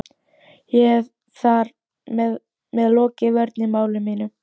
Og hef ég þar með lokið vörn í máli mínu.